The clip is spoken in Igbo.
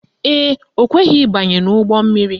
Ee, o kweghi ịbanye n' ụgbọmmiri